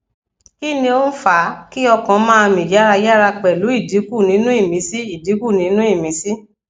kí ni ó ń fa kí ọkàn ma mi yarayaraa pelu idinku ninu imisi idinku ninu imisi